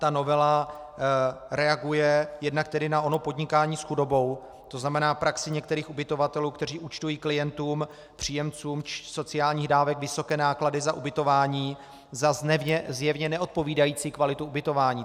Ta novela reaguje jednak tedy na ono podnikání s chudobou, to znamená praxí některých ubytovatelů, kteří účtují klientům - příjemcům sociálních dávek vysoké náklady za ubytování za zjevně neodpovídající kvalitu ubytování.